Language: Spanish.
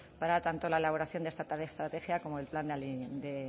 tanto para la elaboración de esta estrategia como el plan de